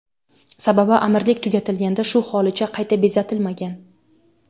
Sababi amirlik tugatilganda shu holicha qayta bezatilmagan.